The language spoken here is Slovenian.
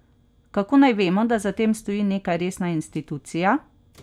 Kako naj vemo, da za tem stoji neka resna institucija?